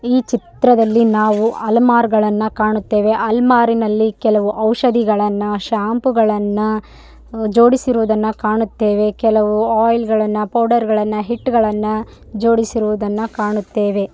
ಈ ಚಿತ್ರದಲ್ಲಿ ನಾವು ಅಲ್ಮಾರು ಗಳನ್ನು ಕಾಣುತ್ತೇವೆಅಲ್ಮಾರು ದಲ್ಲಿ ಔಷಧಿಗಳನ್ನ ಶ್ಯಾಂಪೂ ಗಳನ್ನ ಜೋಡಿಸಿರುವುದನ್ನ ಕಾಣುತ್ತೇವೆ ಕೆಲವು ಆಯಿಲ್‌ ಗಳನ್ನ ಪೌಡರ್‌ ಗಳನ್ನ ಹಿಟ್ಟುಗಳನ್ನ ಜೋಡಿಸಿರುವುದನ್ನ ಕಾಣುತ್ತೇವೆ.